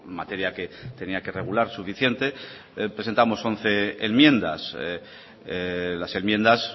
materia que tenía que regular suficiente presentamos once enmiendas las enmiendas